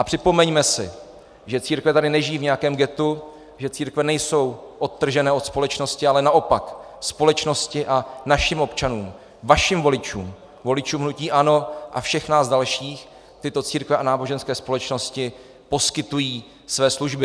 A připomeňme si, že církve tady nežijí v nějakém ghettu, že církve nejsou odtržené od společnosti, ale naopak společnosti a našim občanům, vašim voličům, voličům hnutí ANO a všech nás dalších tyto církve a náboženské společnosti poskytují své služby.